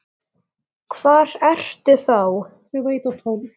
Hvar ertu þá?